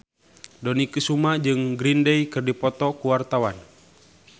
Dony Kesuma jeung Green Day keur dipoto ku wartawan